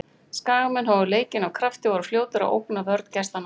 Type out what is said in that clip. Skagamenn hófu leikinn af krafti og voru fljótir að ógna vörn gestanna.